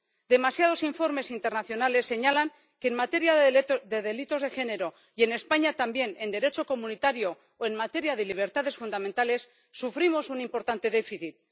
Demasiados informes internacionales señalan que en materia de delitos de género, y en España también en Derecho comunitario, o en materia de libertades fundamentales sufrimos un importante déficit.